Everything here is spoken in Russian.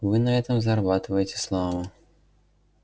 вы на этом зарабатываете славу